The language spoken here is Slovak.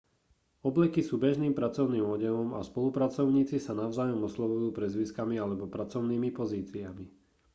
obleky sú bežným pracovným odevom a spolupracovníci sa navzájom oslovujú priezviskami alebo pracovnými pozíciami